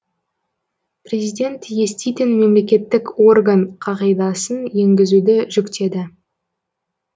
президент еститін мемлекеттік орган қағидасын енгізуді жүктеді